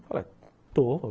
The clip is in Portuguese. Falei, estou.